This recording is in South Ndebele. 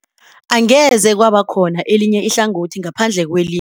Angeze kwaba khona elinye ihlangothi ngaphandle kwelinye.